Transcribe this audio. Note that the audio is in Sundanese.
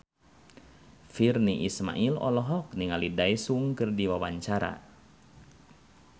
Virnie Ismail olohok ningali Daesung keur diwawancara